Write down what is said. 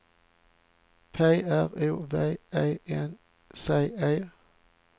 P R O V E N C E